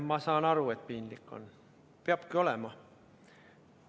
Ma saan aru, et piinlik on, peabki olema.